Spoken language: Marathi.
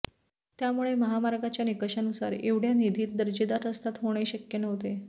त्यामुळे महामार्गाच्या निकषानुसार एवढ्या निधीत दर्जेदार रस्ता होणे शक्य नव्हते